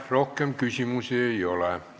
Rohkem küsimusi ei ole.